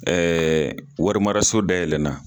warimaraso dayɛlɛna.